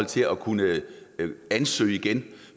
til at kunne ansøge igen